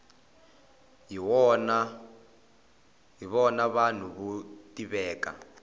hi vona vanhu vo tiveka